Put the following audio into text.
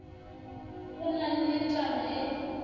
go na le taba e